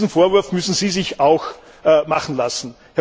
Diesen Vorwurf müssen Sie sich auch machen lassen.